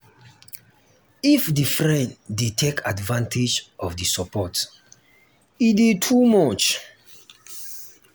if di friend de take advantage of di support e de too much